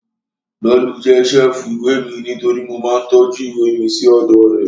Lolú jẹ́ ṣẹ́ẹ̀fù ìwé mi nítorí mo máa ń tọ́jú ìwé mi sí ọ̀dọ̀ rẹ̀